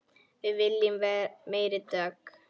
Við viljum meiri dögg!